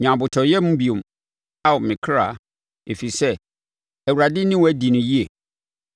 Nya abotɔyam bio, Ao me kra, ɛfiri sɛ Awurade ne wo adi no yie.